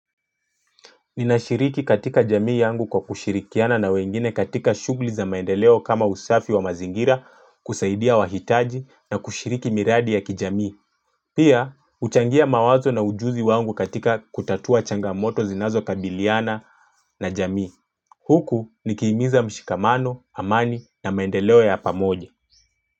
Ninashiriki katika jamii yangu kwa kushirikiana na wengine katika shughli za maendeleo kama usafi wa mazingira kusaidia wahitaji na kushiriki miradi ya kijamii. Pia, huchangia mawazo na ujuzi wangu katika kutatua changamoto zinazokabiliana na jamii. Huku nikiimiza mshikamano, amani na maendeleo ya pamoje.